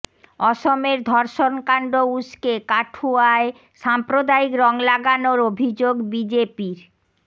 অসমের ধর্ষণকাণ্ড উস্কে কাঠুয়ায় সাম্প্রদায়িক রং লাগানোর অভিযোগ বিজেপির